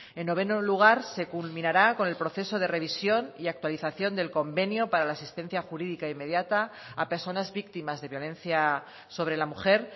en noveno lugar se culminará con el proceso de revisión y actualización del convenio para la asistencia jurídica inmediata a personas víctimas de violencia sobre la mujer